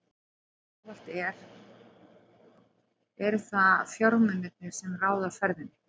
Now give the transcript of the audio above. Eins og ávallt eru það fjármunirnir, sem ráða ferðinni.